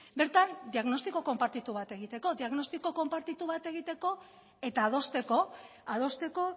bertan diagnostiko konpartitu bat egiteko eta adosteko